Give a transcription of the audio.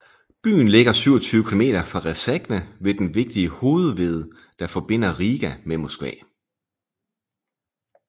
Byen ligger 27 kilometer fra Rēzekne ved den vigtige hovedved der forbinder Riga med Moskva